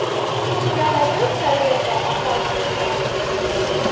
у тебя найдется лента опасные танцы